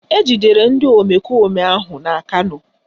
Ejidere ndị omekome ahụ na Kano